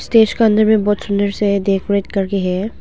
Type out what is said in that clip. Stage का अंदर में बहुत सुंदर से है डेकोरेट करके है।